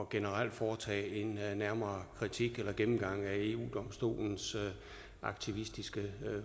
generelt at foretage en nærmere kritik eller gennemgang af eu domstolens aktivistiske